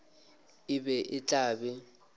e be e tla be